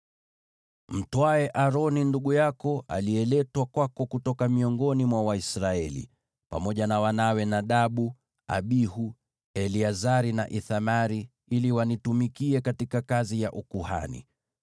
“Mtwae Aroni ndugu yako aliyeletwa kwako kutoka miongoni mwa Waisraeli, pamoja na wanawe Nadabu, Abihu, Eleazari na Ithamari, ili wanitumikie katika kazi ya ukuhani.